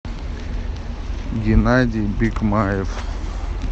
геннадий бикмаев